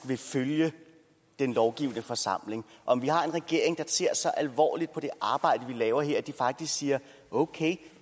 vil følge den lovgivende forsamling om vi har en regering der ser så alvorligt på det arbejde vi laver her at de faktisk siger okay